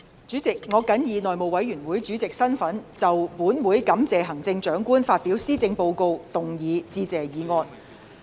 主席，我謹以內務委員會主席身份就"本會感謝行政長官發表施政報告"動議致謝議案。